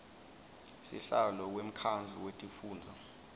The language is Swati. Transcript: sihlalo wemkhandlu wetifundza